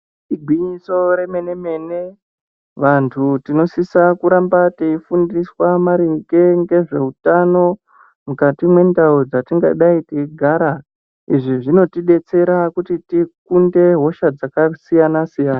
Igwinyiso remene mene vantu tinosisa kuramba teifundiswa maringe ngezveutano mukati mwendau dzatingadai teigara izvi zvinotidetsera kuti tikunde hosha dzakasiyana siyana.